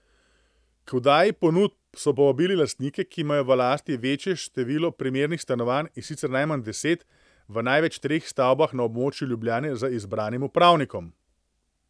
K oddaji ponudb so povabili lastnike, ki imajo v lasti večje število primernih stanovanj, in sicer najmanj deset, v največ treh stavbah na območju Ljubljane z izbranim upravnikom.